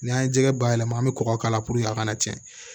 N'an ye jɛgɛ bayɛlɛma an bɛ kɔgɔ k'a la purke a kana cɛn